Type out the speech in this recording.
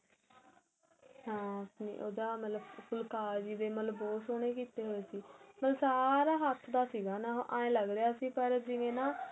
ਹਾਂ ਆਪਣੇਂ ਉਹਦਾ ਮਤਲਬ ਫੁਲਕਾਰੀ ਦੇ ਮਤਲਬ ਬਹੁਤ ਸੋਹਣੇ ਕੀਤੇ ਹੋਏ ਸੀ ਮਤਲਬ ਸਾਰਾ ਹੱਥ ਦਾ ਸੀਗਾ ਆਏ ਲੱਗ ਪਰ ਜਿਵੇਂ ਨਾਂ